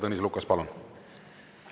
Tõnis Lukas, palun!